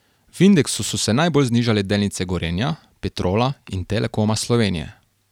V indeksu so se najbolj znižale delnice Gorenja, Petrola in Telekoma Slovenije.